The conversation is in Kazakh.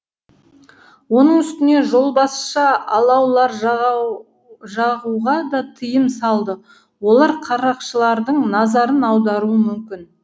оның үстіне жолбасшы алаулар жағуға да тыйым салды олар қарақшылардың назарын аударуы мүмкін